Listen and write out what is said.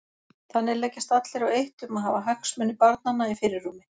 Þannig leggjast allir á eitt um að hafa hagsmuni barnanna í fyrirrúmi.